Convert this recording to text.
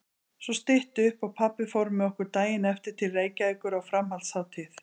Svo stytti upp og pabbi fór með okkur daginn eftir til Reykjavíkur á framhaldshátíð.